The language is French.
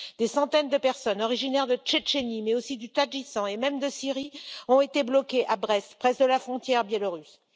Des centaines de personnes originaires de Tchétchénie, mais aussi du Tadjikistan et même de Syrie, ont été bloquées à Brest, près de la frontière biélorusse.